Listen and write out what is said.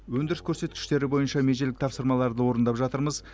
өндіріс көрсеткіштері бойынша межелік тапсырмаларды орындап жатырмыз